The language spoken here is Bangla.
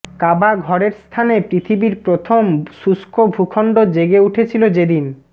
কাবা ঘরের স্থানে পৃথিবীর প্রথম শুষ্ক ভূখণ্ড জেগে উঠেছিল যেদিন